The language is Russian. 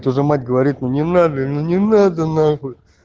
что за мать говорит ну не надо ну не надо нахуй